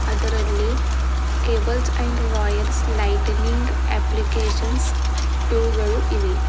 ಅದರಲ್ಲಿ cables and wires lightning applications ಟೂಗಳು ಇವೆ.